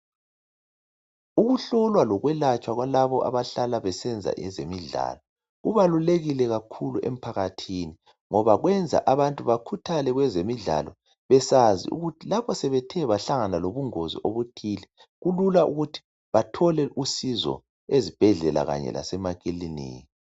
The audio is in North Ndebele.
Ukuhlulwa lokwelatshwa kwalabo abahlala besenza ezemidlalo, kubalulekile kakhulu emphakathini ngoba kwenza abantu bakhuthale kwezemidlalo besazi ukuthi lapho sebethe bahlangana lobungozi obuthile kulula ukuthi bathole usizo ezibhedlela kanye lasemakiliniki.